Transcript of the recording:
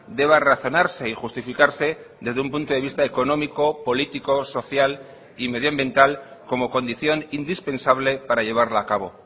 deba razonarse y justificarse desde un punto de vista económico político social y medioambiental como condición indispensable para llevarla a cabo